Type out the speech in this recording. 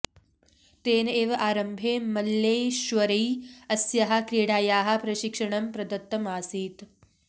तेन एव आरम्भे मल्लेश्वर्यै अस्याः क्रीडायाः प्रशिक्षणं प्रदत्तम् आसीत्